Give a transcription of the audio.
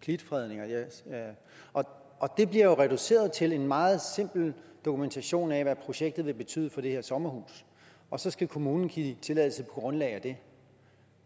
klitfredning det bliver jo reduceret til en meget simpel dokumentation af hvad projektet vil betyde for det her sommerhus og så skal kommunen give tilladelse på grundlag af det